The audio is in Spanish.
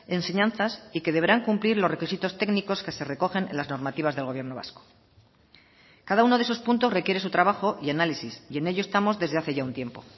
enseñanzas y que deberán cumplir los requisitos técnicos que se recogen en las normativas del gobierno vasco cada uno de esos puntos requiere su trabajo y análisis y en ello estamos desde hace ya un tiempo